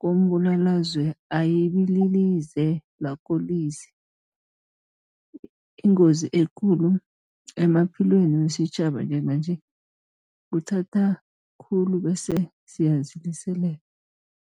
kombulalazwe ayibililize lakolize. Ingozi ekulu emaphilweni wesitjhaba njenganje kuthaba khulu bese siyaziliselela.